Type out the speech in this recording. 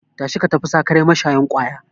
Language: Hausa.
Tashi ka tafi sakarai mashayin kwaya!